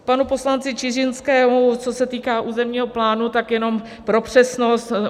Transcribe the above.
K panu poslanci Čižinskému, co se týká územního plánu, tak jenom pro přesnost.